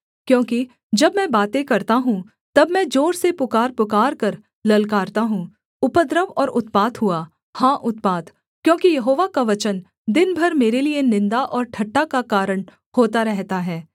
क्योंकि जब मैं बातें करता हूँ तब मैं जोर से पुकार पुकारकर ललकारता हूँ उपद्रव और उत्पात हुआ हाँ उत्पात क्योंकि यहोवा का वचन दिन भर मेरे लिये निन्दा और ठट्ठा का कारण होता रहता है